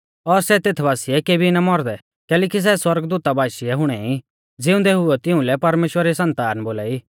और सै तेथ बासिऐ केबी ना मौरदै कैलैकि सै सौरगदूता बाशीऐ हुणै ई ज़िउंदै हुइयौ तिउंलै परमेश्‍वरा री सन्तान बोलाई